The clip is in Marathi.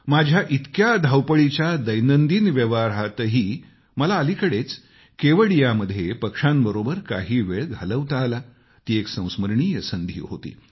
माझ्या इतक्या धावपळीच्या दैनंदिन व्यवहारातही मला अलिकडेच केवडियामध्ये पक्ष्यांबरोबर काही वेळ घालवता आला ती एक संस्मरणीय संधी होती